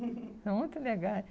São muito legais.